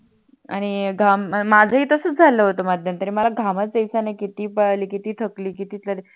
आणि माझ ही तसच झाल होत मला नंतर मला घामच याच्या नाही कटी पडाली किती थकली किती चली